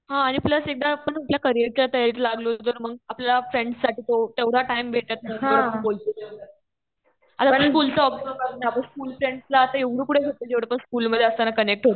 हा आणि प्लस एकदा आपण आपल्या करियरच्या तयारीत लागलो तर मग आपल्याला फ्रेंड्ससाठी तो तेवढा टाइम नाही भेटत. आता बोलतो तेवढं. आता आपण बोलतो आपल्याला काही वाटत नाही. आपण स्कुल फ्रेंड्सला आता एवढं कुठे भेटतो. जेवढं आपण स्कुल मी, अधे असताना कनेक्ट होतो.